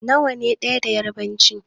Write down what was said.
Nawa ne ɗaya da yarbanci?